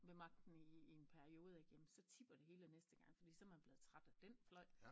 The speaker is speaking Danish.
Ved magten i i en periode ik jamen så tipper det hele næste gang fordi så er man blevet træt af den fløj